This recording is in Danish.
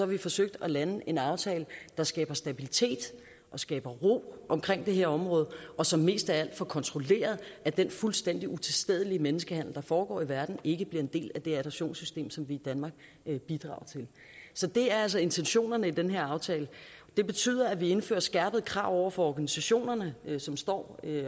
vi forsøgt at lande en aftale der skaber stabilitet og skaber ro om det her område og som mest af vi får kontrolleret at den fuldstændig utilstedelige menneskehandel der foregår i verden ikke bliver en del af det adoptionssystem som vi i danmark bidrager til så det er altså intentionerne i den her aftale det betyder at vi indfører skærpede krav over for organisationerne som står